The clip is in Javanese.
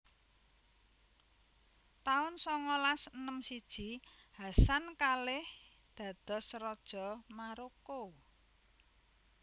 taun songolas enem siji Hassan kalih dados Raja Maroko